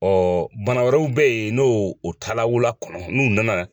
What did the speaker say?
bana wɛrɛw bɛ yen n'o o taa la wula kɔnɔ n'u nana